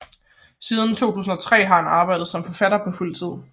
Siden 2003 har han arbejdet som forfatter på fuld tid